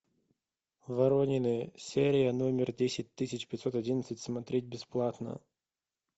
воронины серия номер десять тысяч пятьсот одиннадцать смотреть бесплатно